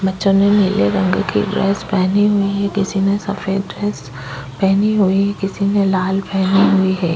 बच्चो ने नीले रंग की ड्रेस पहनी हुई है किसी ने सफेद ड्रेस पहनी हुई है किसी ने लाल पहनी हुई है ।